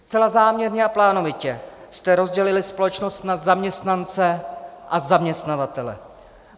Zcela záměrně a plánovitě jste rozdělili společnost na zaměstnance a zaměstnavatele.